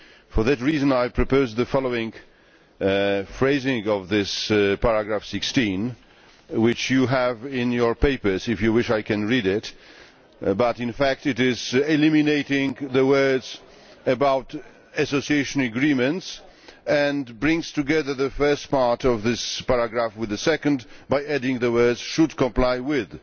For that reason I propose the following phrasing for this paragraph 16 which you have in your papers if you wish I can read it but in fact it eliminates the words about Association Agreements and brings together the first part of this paragraph with the second by adding the words should comply with'.